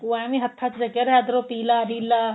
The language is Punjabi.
ਉਹ ਐਵੇ ਹੱਥਾਂ ਚ ਰਚੀਆਂ ਰਿਹਾ ਇੱਧਰੋ ਪੀਲਾ ਨੀਲਾ